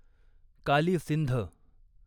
Kali Sindh